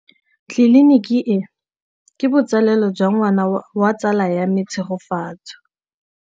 Tleliniki e, ke botsalêlô jwa ngwana wa tsala ya me Tshegofatso.